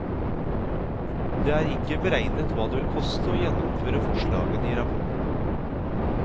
Det er ikke beregnet hva det vil koste å gjennomføre forslagene i rapporten.